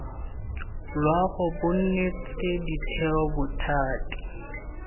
loago bo neetswe ditheo bothati